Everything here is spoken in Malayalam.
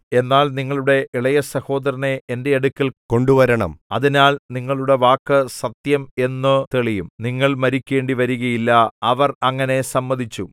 എന്നാൽ നിങ്ങളുടെ ഇളയസഹോദരനെ എന്റെ അടുക്കൽ കൊണ്ടുവരണം അതിനാൽ നിങ്ങളുടെ വാക്ക് സത്യം എന്നു തെളിയും നിങ്ങൾ മരിക്കേണ്ടിവരികയില്ല അവർ അങ്ങനെ സമ്മതിച്ചു